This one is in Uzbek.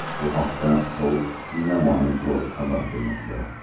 Bu haqda South China Morning Post xabar bermoqda .